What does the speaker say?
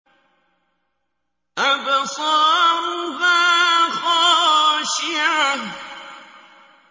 أَبْصَارُهَا خَاشِعَةٌ